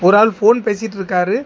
ஒரு ஆள் போன் பேசிட்டு இருக்காரு.